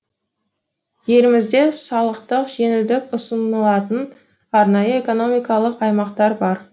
елімізде салықтық жеңілдік ұсынылатын арнайы экономикалық аймақтар бар